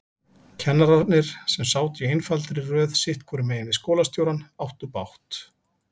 Kennararnir, sem sátu í einfaldri röð sitthvoru megin við skólastjórann, áttu bágt.